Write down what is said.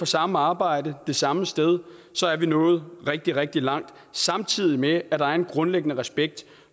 samme arbejde det samme sted så er vi nået rigtig rigtig langt samtidig med at der er en grundlæggende respekt